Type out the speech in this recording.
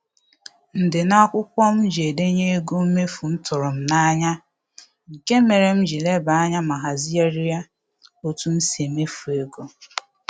Ndịna akwụkwọ m ji edenye ego mmefu m tụrụ m n'anya, nke mere m ji lebe anya ma hazigharịa otu m si emefu ego